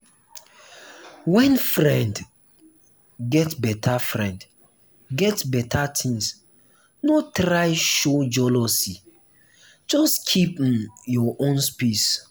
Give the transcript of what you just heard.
when friend get better friend get better things no try show jealousy just keep um your own pace.